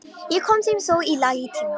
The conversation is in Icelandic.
Ég kom þeim þó í lag í tíma.